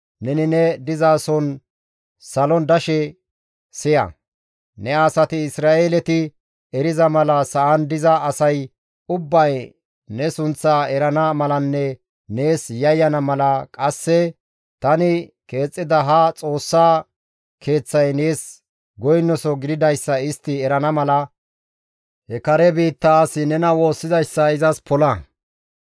neni ne dizason salon dashe siya; ne asati Isra7eeleti eriza mala sa7an diza asay ubbay ne sunththaa erana malanne nees yayyana mala, qasse tani keexxida ha Xoossaa keeththay nees goynoso gididayssa istti erana mala, he kare biittaa asi nena woossizayssa izas pola.